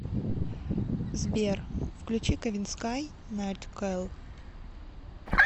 сбер включи кавинскай найткэлл